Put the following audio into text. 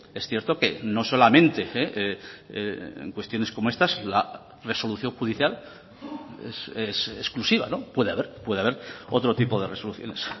es cierto que no solamente en cuestiones como estas la resolución judicial es exclusiva puede haber puede haber otro tipo de resoluciones